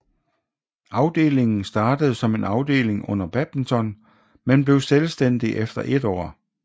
Afdelingen startede som en afdeling under badminton men blev selvstændig efter 1 år